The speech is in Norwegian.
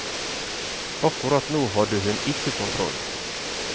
Akkurat nå hadde hun ikke kontroll.